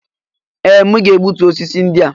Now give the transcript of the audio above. Ee! M ga-egbutu osisi ndị a.